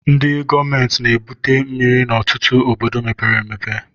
Ndị gọọmentị na-ebute mmiri n'ọtụtụ obodo mepere emepe